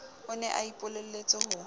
o ne a ipolelletse ho